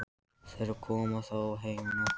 Þeir koma þó heim á nóttunni.